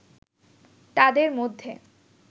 তাদের মধ্যে